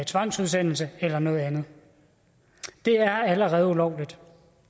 tvangsudsendelse eller noget andet det er allerede ulovligt